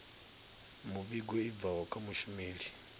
muvhigo i bvaho kha mushumeli